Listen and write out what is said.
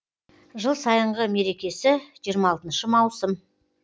жыл сайынғы мерекесі жиырма алтыншы маусым